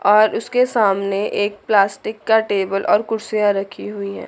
और उसके सामने एक प्लास्टिक का टेबल और कुर्सियां रखी हुई है।